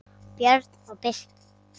Björn og Birkir.